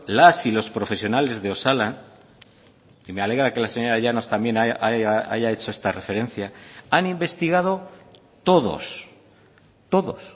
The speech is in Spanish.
las y los profesionales de osalan y me alegra que la señora llanos también haya hecho esta referencia han investigado todos todos